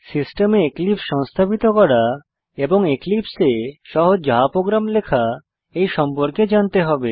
সিস্টেমে এক্লিপসে সংস্থাপিত করা এবং এক্লিপসে এ সহজ জাভা প্রোগ্রাম লেখা এ সম্পর্কে জানতে হবে